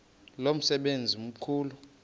lo msebenzi mkhulu